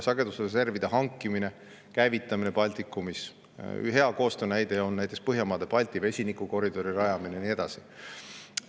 Sagedusreserve hangitakse ja käivitatakse Baltikumis samamoodi ühiselt, hea koostöö näide on Põhjamaade-Balti vesinikukoridori rajamine ja nii edasi.